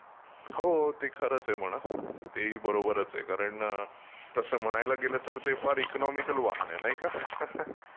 हो हो ते खरंच आहे म्हणा, ते ही बरोबरचं आहे. कारण तसं म्हणायला गेलं ते फारचं इकॉनॉमिकलचं वाहन आहे नाही का?